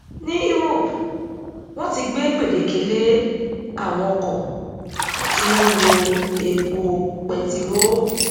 ní europe wọn ti gbé gbèdéke lé àwọn ọkọ tí ó n lo epo pẹtiró